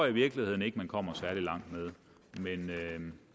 i virkeligheden ikke man kommer særlig langt